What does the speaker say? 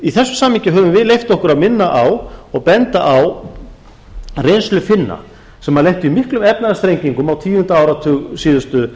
í þessu samhengi höfum við leyft okkur að minna á og benda á reynslu finna sem lentu í miklum efnahagsþrengingum á tíunda áratug síðustu